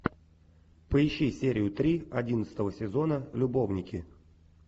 поищи серию три одиннадцатого сезона любовники